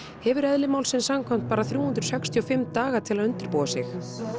hefur eðli málsins samkvæmt bara þrjú hundruð sextíu og fimm daga til að undirbúa sig